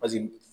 Paseke